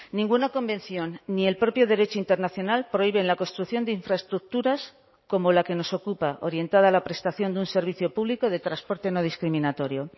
ninguna convención ni el propio derecho internacional prohíben la construcción de infraestructuras como la que nos ocupa orientada a la prestación de un servicio público de transporte no discriminatorio